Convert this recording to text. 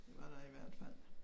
Det var der i hvert fald